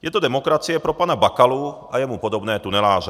Je to demokracie pro pana Bakalu a jemu podobné tuneláře.